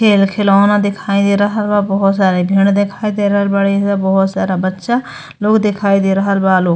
खेल खिलौना दिखाई दे रहल बा। बोहोत सारे भेड़ दिखाई दे रहल बाड़े एइजा। बोहोत सारा बच्चा लोग देखाई दे रहल बा लो।